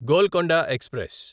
Golconda express